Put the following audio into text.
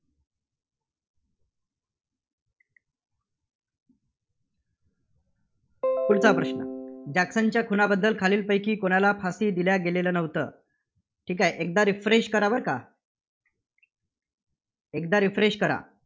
पुढचा प्रश्न जॅक्सनच्या खुनाबद्दल खालीलपैकी कुणाला फाशी दिल्या गेलेल्या नव्हतं. ठीक आहे, एकदा refresh करा बरं का. एकदा refresh करा.